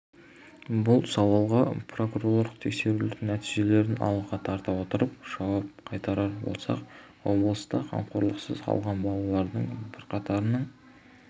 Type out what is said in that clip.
бұл сауалға прокурорлық тексерулердің нәтижелерін алға тарта отырып жауап қайтарар болсақ облыста қамқорлықсыз қалған балалардың бірқатарының